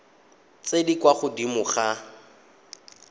tse di kwa godimo ga